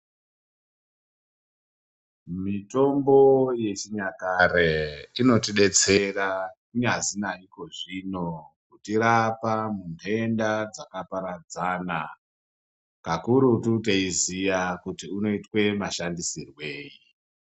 Mitombo yechinyakare, chinotidetserera nyazina ikozvino, kutirapa ndenda dzakaparadzana. Kakurutu teyiziya kuti unoyitwe mashandisirweyi.